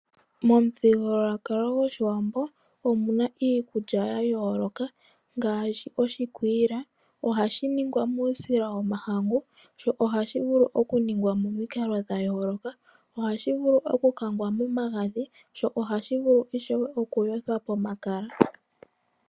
Momuthigululwakalo gOshiwambo omu na iikulya ya yooloka ngaashi oshikwiila. Ohashi ningwa muusila wOmahangu, sho ohashi vulu okuningwa momikalo dha yooloka. Ohashi vulu okukangwa momagadhi, sho ohashi vulu ishewe okuyothwa pomakala.